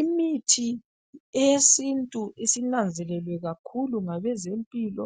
Imithi eyesintu isinanzelelwe kakhulu ngabezempilo